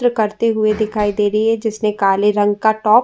त्र करते हुए दिखाई दे रही है। जिसने काले रंग का टॉप --